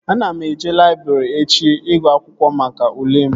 Ana m eje laịbrị echi ịgụ akwụkwọ maka ule m